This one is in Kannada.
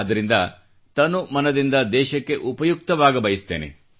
ಆದ್ದರಿಂದ ತನು ಮನ ದಿಂದ ದೇಶಕ್ಕೆ ಉಪಯುಕ್ತವಾಗಬಯಸುತ್ತೇನೆ